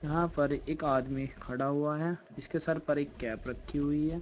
यहां पर एक आदमी खड़ा हुआ है इसके सर पर एक कैप रखी हुई है।